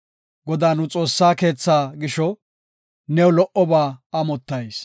Godaa nu Xoossaa keethaa gisho, new lo77oba amottayis.